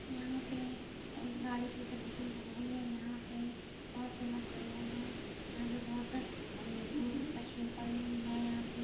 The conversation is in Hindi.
यहाँ पे एक गाड़ी की सर्विसिंग चल रही है यहाँ पे बहुत से लोग खड़े हुए हैं। यहाँ पे बहुत मशीन पड़ी हुई हैं यहाँ पे --